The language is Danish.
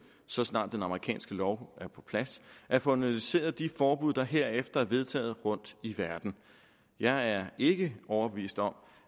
så snart den amerikanske lov er på plads at få analyseret de forbud der herefter er vedtaget rundt i verden jeg er ikke overbevist om